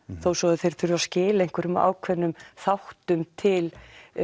þó svo að þeir þurfi að skila einhverjum ákveðnum þáttum til